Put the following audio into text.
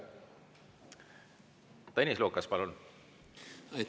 Tõnis Lukas, palun!